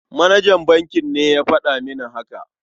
Manajan bankin ne ya faɗa mini haka.